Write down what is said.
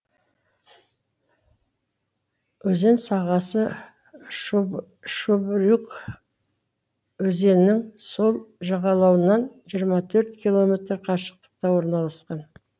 өзен сағасы шубрюг өзенінің сол жағалауынан жиырма төрт километр қашықтықта орналасқан